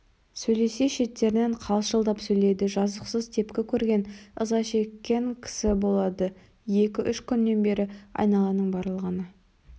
сөйлесе шеттерінен қалшылдап сөйлейді жазықсыз тепкі көрген ыза шеккен кісі болады екі-үш күннен бері айналаның барлығына